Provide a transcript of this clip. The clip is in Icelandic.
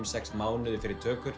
sex mánuði fyrir tökur